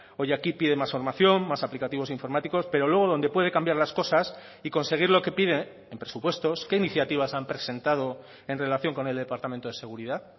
hoy aquí pide más formación más aplicativos informáticos pero luego donde puede cambiar las cosas y conseguir lo que pide en presupuestos qué iniciativas han presentado en relación con el departamento de seguridad